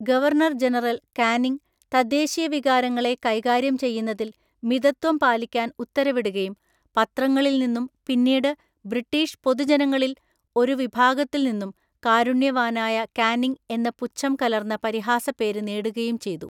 Governor general Canning തദ്ദേശീയവികാരങ്ങളെ കൈകാര്യം ചെയ്യുന്നതിൽ മിതത്വം പാലിക്കാൻ ഉത്തരവിടുകയും പത്രങ്ങളിൽനിന്നും പിന്നീട് ബ്രിട്ടീഷ് പൊതുജനങ്ങളിൽ ഒരു വിഭാഗത്തില്‍നിന്നും കാരുണ്യവാനായ കാനിംഗ് എന്ന പുച്ഛം കലർന്ന പരിഹാസപ്പേര് നേടുകയും ചെയ്തു.